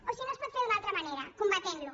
o si no es pot fer d’una altra manera combatentlo